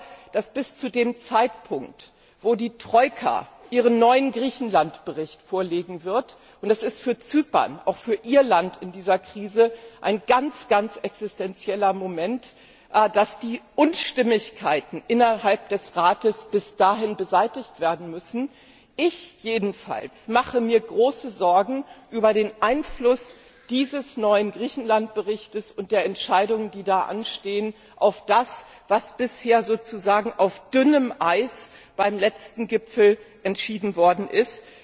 Ich glaube, dass bis zu dem Zeitpunkt, an dem die Troika ihren neuen Griechenlandbericht vorlegen wird und das ist auch für Zypern, für Ihr Land, in dieser Krise ein ganz existenzieller Moment die Unstimmigkeiten innerhalb des Rates beseitigt werden müssen. Ich jedenfalls mache mir große Sorgen über den Einfluss dieses neuen Griechenlandberichts und der Entscheidungen, die da anstehen, auf das, was bisher sozusagen auf dünnem Eis beim letzten Gipfel entschieden worden ist.